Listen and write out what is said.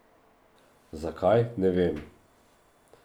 Zakaj, ne vem.